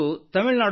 ಹೌದು oh Yes